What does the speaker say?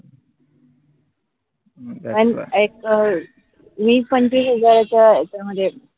एक वीस पंचवीस हजारच त्यामध्ये